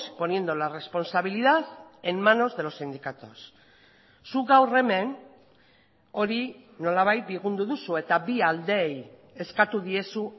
poniendo la responsabilidad en manos de los sindicatos zuk gaur hemen hori nolabait bigundu duzu eta bi aldeei eskatu diezu